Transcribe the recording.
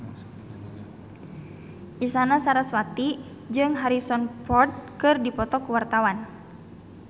Isyana Sarasvati jeung Harrison Ford keur dipoto ku wartawan